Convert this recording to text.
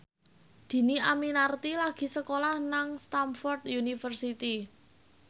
Dhini Aminarti lagi sekolah nang Stamford University